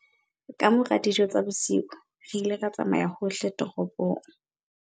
Ka mora dijo tsa bosiu re ile ra tsamaya hohle toropong.